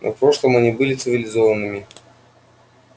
но в прошлом они были цивилизованными